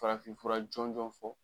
Farafinfura jɔnjɔn fɔ